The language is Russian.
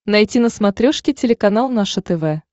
найти на смотрешке телеканал наше тв